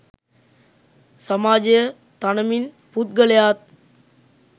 සමාජය තනමින් පුද්ගලයාත්